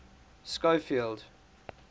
schofield